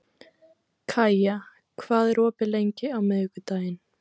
Kaía, hvað er opið lengi á miðvikudaginn?